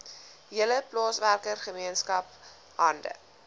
hele plaaswerkergemeenskap hande